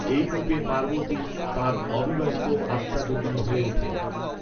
এই রূপে পার্বতী তাঁর অবিবাহিত আত্মা যোগিনী হয়ে ওঠেন।